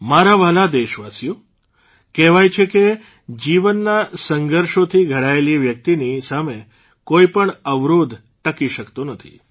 મારા વ્હાલા દેશવાસીઓ કહેવાય છે કે જીવનના સંઘર્ષોથી ઘડાયેલી વ્યક્તિની સામે કોઇપણ અવરોધ ટકી શક્તો નથી